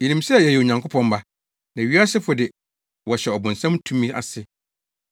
Yenim sɛ yɛyɛ Onyankopɔn mma, na wiasefo de wɔhyɛ ɔbonsam tumi ase.